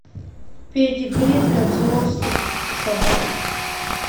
педигри для взрослых собак